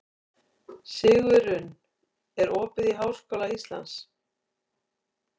Sigurunn, er opið í Háskóla Íslands?